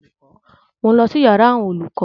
Mò ń lọ sí yàrá àwọn olùkọ́